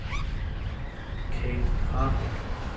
Kathe Rahbek